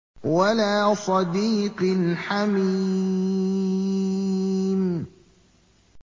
وَلَا صَدِيقٍ حَمِيمٍ